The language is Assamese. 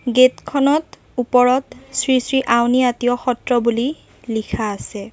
গেট খনত ওপৰত শ্ৰী শ্ৰী আউনী আটীয় সত্ৰ বুলি লিখা আছে।